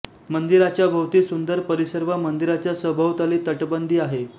मंदिराच्या भोवती सुंदर परिसर व मंदिराच्या सभोवताली तटबंदी आहे